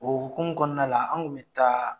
O hukumu kɔnɔna la an kun bɛ taa